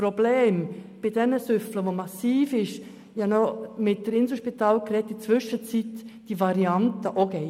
Zudem gibt es mittlerweile eine Variante am Inselspital, welche für schwer Betrunkene in Anspruch genommen werden kann.